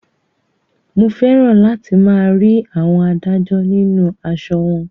Mo fẹ́ràn láti máa rí àwọn adájọ́ nínú aṣọ wọn